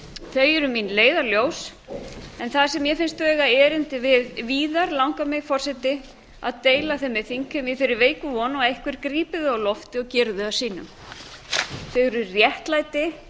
þau eru mín leiðarljós þar sem mér finnst eiga erindi við víðar langar mig forseti að deila þeim með þingheimi í þeirri veiku von að einhver grípi þau á lofti og geri þau að sínum þau eru réttlæti